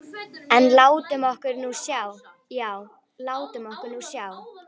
En látum okkur nú sjá, já, látum okkur nú sjá.